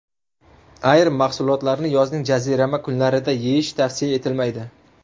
Ayrim mahsulotlarni yozning jazirama kunlarida yeyish tavsiya etilmaydi.